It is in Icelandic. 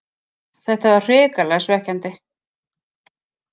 Þetta var hrikalega svekkjandi